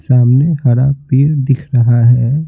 सामने हरा पीर दिख रहा है।